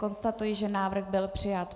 Konstatuji, že návrh byl přijat.